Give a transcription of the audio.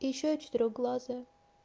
и ещё я четырёхглазая